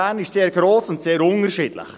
Bern ist sehr gross und sehr vielfältig.